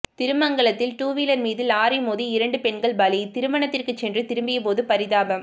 திருமங்கலத்தில் two wheeler மீது lorry மோதி இரண்டு பெண்கள் பலி திருமணத்திற்கு சென்று திரும்பிய போது பரிதாபம்